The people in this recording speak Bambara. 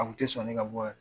A kun tɛ sɔn ne ka bɔ yɛrɛ.